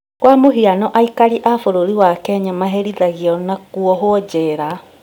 Kwa mũhiano aikari a bũrũri wa Kenya maherithagio na kuohwo njera